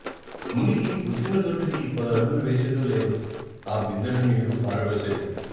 మునిగి ఉతికిన దొడ్డుకి పదడుగులు వేసేదో లేదో ఆ బిందెడు నీళ్ళు పారబోసేది.